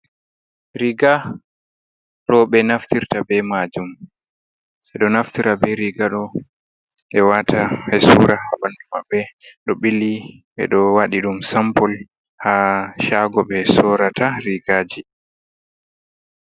Riga roɓe naftirta be majum, ɓe ɗo naftira be riga ɗo ɓe wata ɓesura ha bandu mamɓɓe, ɗo ɓili ɓe do wadi dum sampol ha chago be sorata rigaji.